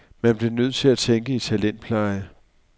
Man bliver nødt til at tænke i talentpleje.